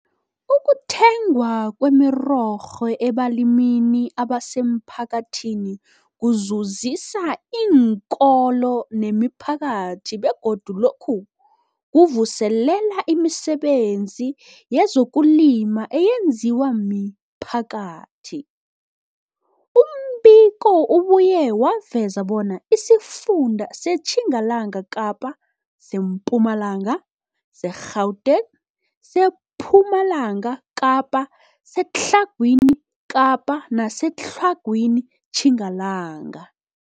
Ukuthengwa kwemirorho ebalimini abasemphakathini kuzuzisa iinkolo nemiphakathi begodu lokhu kuvuselela imisebenzi yezokulima eyenziwa miphakathi. Umbiko ubuye waveza bona isifunda seTjingalanga Kapa, seMpumalanga, seGauteng, sePumalanga Kapa, seTlhagwini Kapa neseTlhagwini Tjingalanga